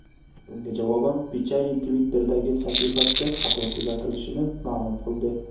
Bunga javoban Pichai Twitter’dagi sahifasida xato tuzatilishini ma’lum qildi.